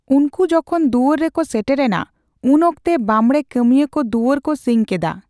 ᱩᱱᱠᱩ ᱡᱚᱠᱷᱚᱱ ᱫᱩᱭᱟᱹᱨ ᱨᱮᱠᱚ ᱥᱮᱴᱮᱨ ᱮᱱᱟ, ᱩᱱ ᱚᱠᱛᱮ ᱵᱟᱸᱵᱬᱮ ᱠᱟᱹᱢᱤᱭᱟᱹᱠᱚ ᱫᱩᱭᱟᱹᱨ ᱠᱚ ᱥᱤᱧ ᱠᱮᱫᱟ ᱾